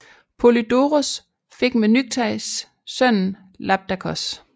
Polydoros fik med Nykteis sønnen Labdakos